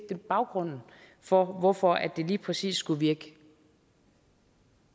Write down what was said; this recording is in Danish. baggrunden for hvorfor det lige præcis skulle virke